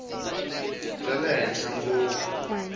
bya le henhla ngopfu